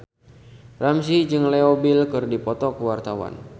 Ramzy jeung Leo Bill keur dipoto ku wartawan